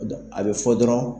O don a bi fɔ dɔrɔn